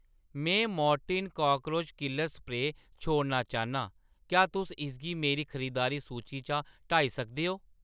में Mortein cockroach killer spray छोड़ना चाह्‌न्नां, क्या तुस इसगी मेरी खरीदारी सूची चा हटाई सकदे ओ ?